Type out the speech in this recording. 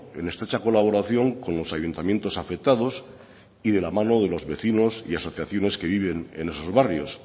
en estrecha colaboración con los ayuntamientos afectados y de la mano de los vecinos y asociaciones que viven en esos barrios